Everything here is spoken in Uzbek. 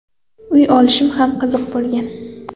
Uy olishim ham qiziq bo‘lgan.